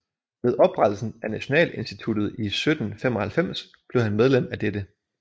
Ved oprettelsen af Nationalinstituttet i 1795 blev han medlem af dette